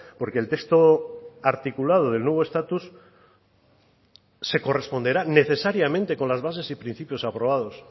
porque el texto articulado del nuevo estatus se corresponderá necesariamente con las bases y principios aprobados